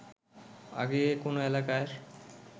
আগে কোনো এলাকার